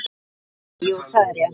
Hansa: Jú, það er rétt.